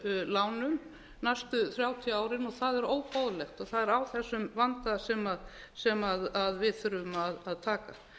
lánum næstu þrjátíu árin og það er óboðlegt og það er á þessum vanda sem við þurfum að taka